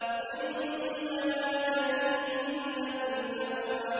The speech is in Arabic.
عِندَهَا جَنَّةُ الْمَأْوَىٰ